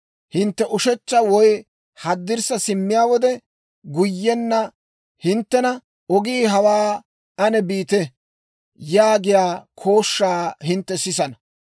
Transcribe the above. Hintte ushechcha woy haddirssa simmiyaa wode, guyyenna hinttena, «Ogii hawaa; aan biite» yaagiyaa kooshshaa hintte sisana.